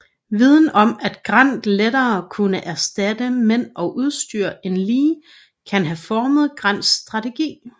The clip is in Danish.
Viden om at Grant lettere kunne erstatte mænd og udstyr end Lee kan have formet Grants strategi